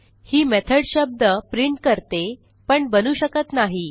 ही method शब्द print करते पण बनवू शकत नाही